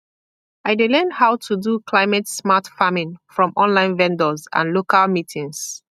i dey learn how to do climatesmart farming from online videos and local meetings